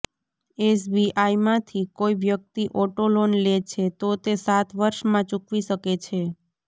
એસબીઆઈમાંથી કોઈ વ્યક્તિ auto loan લે છે તો તે સાત વર્ષમાં ચુકવી શકે છે